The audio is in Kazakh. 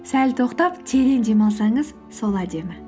сәл тоқтап терең дем алсаңыз сол әдемі